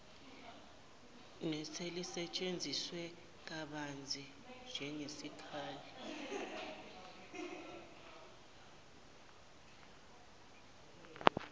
neselisetshenziswe kabanzi njengesikhali